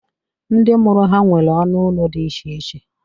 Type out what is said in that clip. Ndị mụrụ ha nwere ọnụ ụlọ dị iche iche